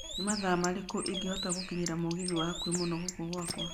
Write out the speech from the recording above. nĩ mathaa marĩku ingĩhota gũkinyĩra mũgithi wa hakũhĩ mũno gũka gwakwa